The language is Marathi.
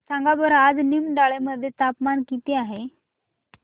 सांगा बरं आज निमडाळे मध्ये तापमान किती आहे